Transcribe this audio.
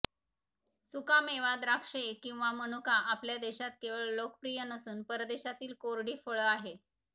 सुका मेवा द्राक्षे किंवा मनुका आपल्या देशात केवळ लोकप्रिय नसून परदेशातील कोरडी फळ आहे